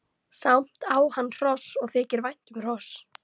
Samt á hann hross og þykir vænt um hross.